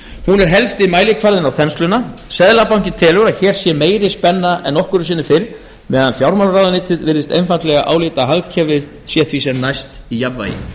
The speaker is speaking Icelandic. hún er helsti mælikvarðinn á þensluna seðlabankinn telur að hér sé meiri spenna en nokkru sinni fyrr meðan fjármálaráðuneytið virðist einfaldlega álíta að hagkerfið sé því sem næst í jafnvægi